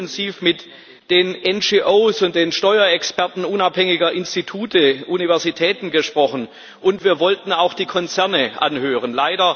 Wir haben intensiv mit den NGOs und den Steuerexperten unabhängiger Institute, Universitäten gesprochen, und wir wollten auch die Konzerne anhören.